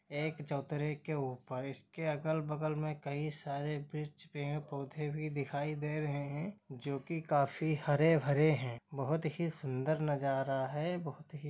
एक चोत्तरे के ऊपर इसके अगल- बगल में कई सारे पिच पेड़ पौधे भी दिखाई दे रहे है जो की काफी हरे- भरे है बोहोत ही सुंदर नजारा है। बोहोत ही--